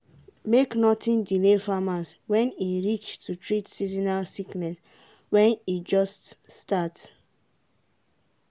sick um animals need make dem at ten d to them sharp sharp so e no go make all the others die.